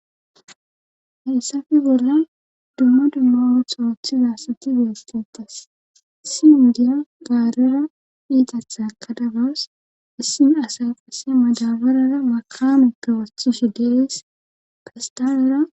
heyssappe bollan dumma dumma ootso othiza asati betetes issi indiya gaarera iitatha kadagas issimi asay qase madabarara maqamekewathushe de'ees festalera